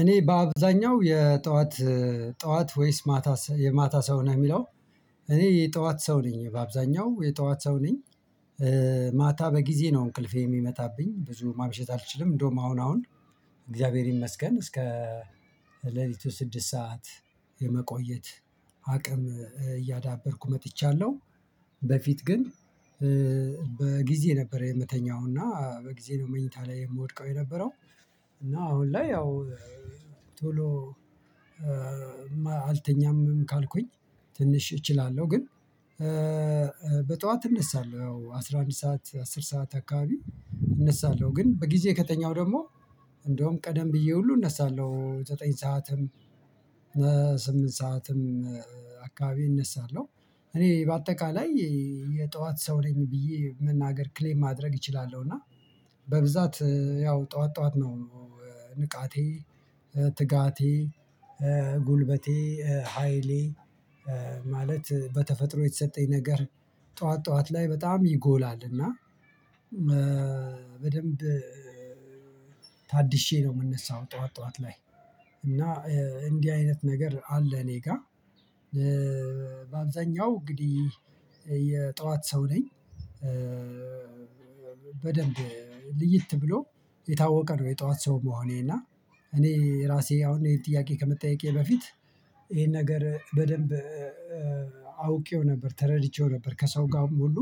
እኔ በአብዛኛው የጠዋት ጠዋት ወይስ ማታ የማታ ሰው ነህ የሚለው እኔ የጠዋት ሰው ነኝ በአብዛኛው የጠዋት ሰው ነኝ። ማታ በጊዜ ነው እንቅልፌ የሚመጣብኝ ብዙ ማምሸት አልችልም እንደውም አሁን አሁን እግዚአብሔር ይመስገን እስከ ሌሊቱ ስድስት ሰዓት የመቆየት አቅም እያዳበርኩ መጥቻለሁ። በፊት ግን በጊዜ ነበር የምተኛው እና በጊዜ ነው መኝታ ላይ የምወድቀው የነበረው። እና አሁን ላይ ያው ቶሎ አልተኛም ካልኩኝ ትንሽ እችላለሁ ግን በጧት እነሳለሁ ያው አስራ አንድ ሰዓት አስር ሰዓት አካባቢ እነሳለሁ። ግን በጊዜ ከተኛው ደግሞ እንደውም ቀደም ብዬ ሁሉ እነሳለሁ ዘጠኝ ሰዓትም ስምንት ሰዓትም አካባቢ እነሳለሁ። እኔ በአጠቃላይ የጠዋት ሰው ነኝ ብዬ መናገር ክሌም ማድረግ እችላለሁ እና በብዛት ያው ጠዋት ጠዋት ነው። ንቃቴ ትጋቴ ጉልበቴ ሃይሌ ማለት በተፈጥሮ የተሰጠኝ ነገር ጠዋት ጠዋት ላይ በጣም ይጎላል እና በደንብ ነው የምንነሳው ጠዋት ጠዋት ላይ እና እንዲህ አይነት ነገር አለ። እኔ ጋር በአብዛኛው እንግዲህ የጠዋት ሰው ነኝ። በደንብ ልይት ብሎ የታወቀ ነው የጠዋት ሰው መሆኔ እና። እኔ ራሴ አሁን ይሄን ጥያቄ ከመጠየቄ በፊት ይሄን ነገር በደንብ አውቄው ነበር ተረድቼው ነበር ከሰው ጋር ሙሉ